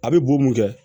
A bɛ bo mun kɛ